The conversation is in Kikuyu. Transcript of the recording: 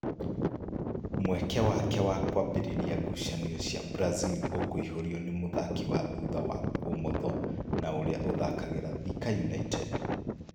Mweke wake wa kwambĩrĩria ngucanio cia Brazil ũkĩihũrio nĩ mũthaki wa thutha wa ũmotho na ũrĩa ũthakagĩra Thika United.